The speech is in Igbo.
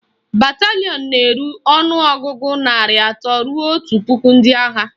Batalịọn na-eru ọnụọgụgụ narị atọ ruo otu puku ndị agha